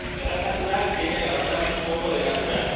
El gas natural tiene, la verdad, poco de natural.